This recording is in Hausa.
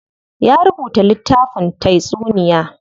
Ya rubuta littafin taysuniya.